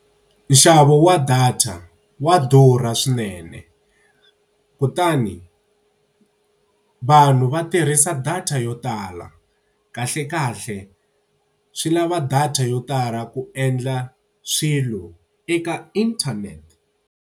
Nxavo wa data wa durha swinene kutani, vanhu va tirhisa data yo tala. Kahlekahle swi lava data yo tala ku endla swilo eka internet.